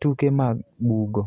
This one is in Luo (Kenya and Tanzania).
tuke mag bugo.